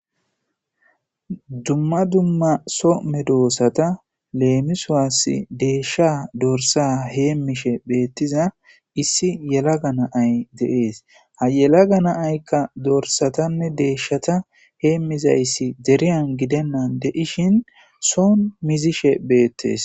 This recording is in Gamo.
dumma dumma soo medoossata leemisuaass deeshsha dorsa heemmishe beettiza issi yelaga na ay de7ees hayelaga naaykka dorsatanne deeshshata heemmizayssi deriyan gidennan de7ishin soon mizishe beettees